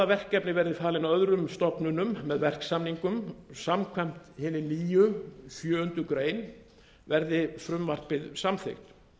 verkefni verði falin öðrum stofnunum með verksamningum samkvæmt hinni nýju sjöundu greinar verði frumvarpið samþykkt